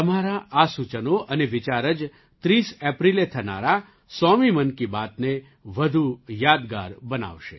તમારાં આ સૂચનો અને વિચાર જ ૩૦ એપ્રિલે થનારા સોમી 100મા મન કી બાતને વધુ યાદગાર બનાવશે